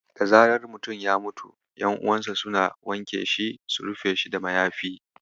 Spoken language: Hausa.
Da zarar mutum ya mutu, ƴan'uwansa suna wanke shi su rufe shi da mayafi.